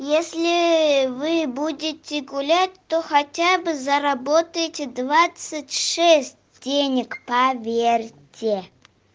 если вы будете гулять то хотя бы заработаете двадцать шесть денег поверьте